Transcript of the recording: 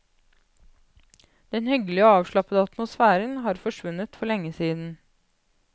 Den hyggelige og avslappede atmosfæren har forsvunnet for lenge siden.